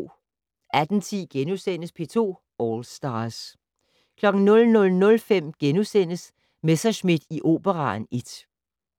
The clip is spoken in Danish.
18:10: P2 All Stars * 00:05: Messerschmidt i Operaen I *